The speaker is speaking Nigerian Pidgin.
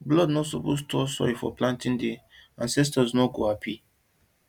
blood no suppose touch soil for planting day ancestors no go happy